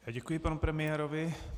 Děkuji panu premiérovi.